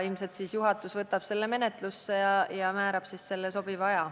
Ilmselt siis juhatus võtab selle menetlusse ja määrab sobiva aja.